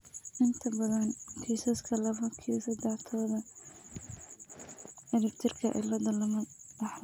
Inta badan kiisaska laba q sedex todoba ciribtirka cilladda lama dhaxlo.